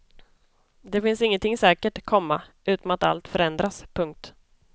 Det finns ingenting säkert, komma utom att allt förändras. punkt